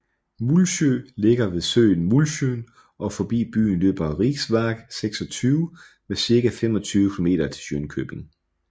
Mullsjö ligger ved søen Mullsjön og forbi byen løber riksväg 26 med cirka 25 kilometer til Jönköping